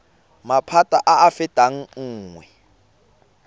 maphata a a fetang nngwe